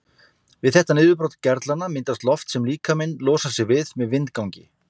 Við þetta niðurbrot gerlanna myndast loft sem líkaminn losar sig við með vindgangi.